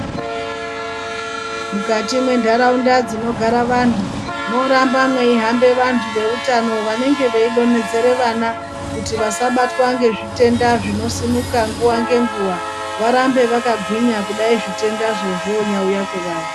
Mukati mwenharaunda dzinogara antu morambe meihambe vantu veutano venenge veidonhedzere vana kuti vasabatwa ngezvitenda zvinosimuka nguva ngenguva. Varambe vakagwinya kudai zvitendazvo zvonyauya kwavari.